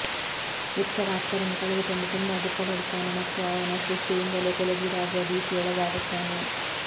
Victor ಆಪ್ತರನ್ನು ಕಳೆದುಕೊಂಡು ತುಂಬಾ ದುಃಖಪಡುತ್ತಾನೆ ಮತ್ತು ಅವನ ಸೃಷ್ಟಿಯಿಂದಲೇ ಕೊಲೆಗೀಡಾಗುವ ಭೀತಿಗೊಳಗಾಗುತ್ತಾನೆ